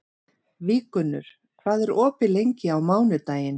Víggunnur, hvað er opið lengi á mánudaginn?